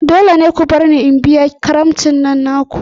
Dole ne ku barni in biya karamicin nan naku!